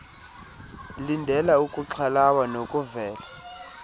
lindela ukuxhalaba nokuvela